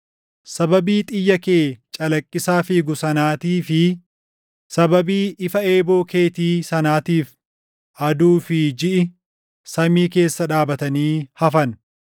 Sababii xiyya kee calaqqisaa fiigu sanaatii fi sababii ifa eeboo keetii sanaatiif aduu fi jiʼi samii keessa dhaabatanii hafan.